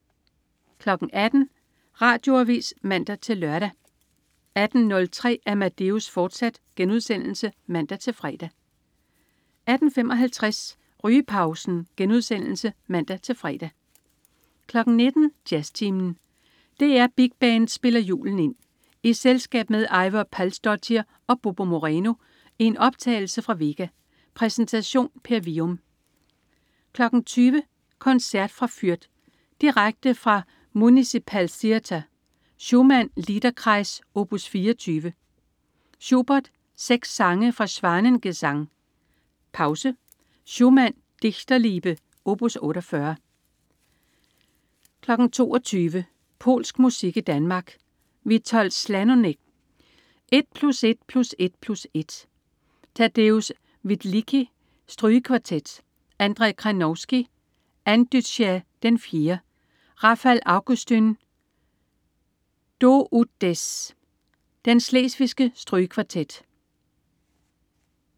18.00 Radioavis (man-lør) 18.03 Amadeus, fortsat* (man-fre) 18.55 Rygepausen* (man-fre) 19.00 Jazztimen. DR Big Band spiller julen ind. I selskab med Eivør Palsdottir og Bobo Moreno i en optagelse fra Vega. Præsentation: Per Wium 20.00 Koncert fra Fürth. Direkte fra Municipal Theatre. Schumann: Liederkreis, opus 24. Schubert: Seks sange fra Schwanengesang. Pause. Schumann: Dichterliebe, opus 48 22.00 Polsk musik i Danmark. Witold Szalonek: 1+1+1+1. Tadeusz Wielicki: Strygekvartet. Andrzej Kranowski: Audycja IV. Rafal Augustyn: Do ut des. Den schlesiske strygekvartet